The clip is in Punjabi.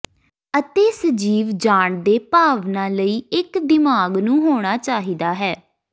ਅਤੇ ਸਜੀਵ ਜਾਣਦੇ ਭਾਵਨਾ ਲਈ ਇੱਕ ਦਿਮਾਗ ਨੂੰ ਹੋਣਾ ਚਾਹੀਦਾ ਹੈ